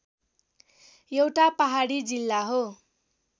एउटा पहाडी जिल्ला हो